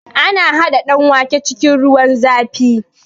Ana haɗa danwake cikin ruwan zafi